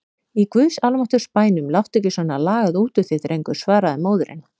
Í guðs almáttugs bænum láttu ekki svona lagað út úr þér drengur, svaraði móðirin.